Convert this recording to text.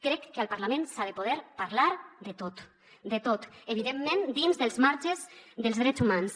crec que al parlament s’ha de poder parlar de tot de tot evidentment dins dels marges dels drets humans